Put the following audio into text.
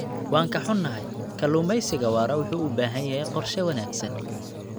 Waan ka xunnahay, kalluumeysiga waara wuxuu u baahan yahay qorshe wanaagsan.